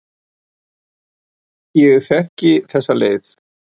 Ég þekki þessa leið.